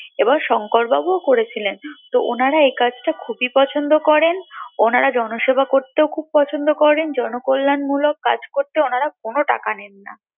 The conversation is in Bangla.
এবং শঙ্কর বাবু ও করেছিলেন ওনারা এই কাজ টা খুবই পছন্দ করেন ওনারা জনসেবা করতেও খুব পছন্দ করেন জনকল্যান মুলক কাজ করতে ওনারা কোনো টাকা নেন না